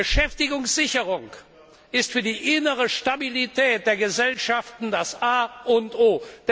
Beschäftigungssicherung ist für die innere Stabilität der Gesellschaften das A und O.